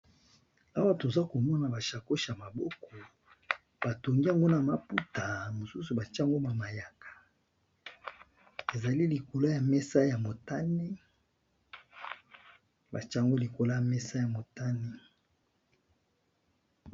awa toza komona bashacosh ya maboko batongiango na maputa mosusu baciango ba mayaka ezali likolo ya mesayamotane batyango likolo ya mesa ya motane